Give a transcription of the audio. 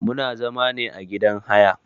Muna zama ne a gidan haya.